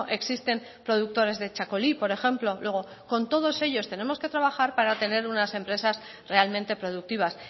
existen productores de txakoli por ejemplo luego con todos ellos tenemos que trabajar para tener unas empresas realmente productivas